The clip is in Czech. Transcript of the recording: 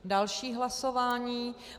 Další hlasování.